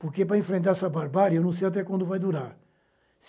Porque, para enfrentar essa barbárie, eu não sei até quando vai durar.